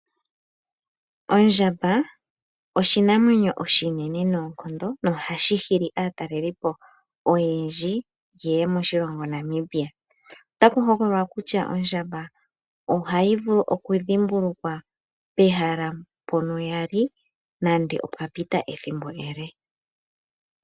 Ondjamba oshinene noonkondo nohashi hili aatalelipo oyendji yeye moshilongo Namibia. Otaku hokololwa kutya ondjamba ohayi vulu okudhimbulukwa pehala mpono yali nande opwa pita ethimbo ele.